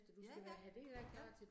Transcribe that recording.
Ja ja, ja